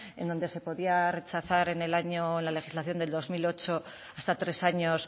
en donde se podía rechazar en la legislación del dos mil ocho hasta tres años